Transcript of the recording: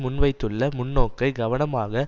முன்வைத்துள்ள முன்னோக்கை கவனமாக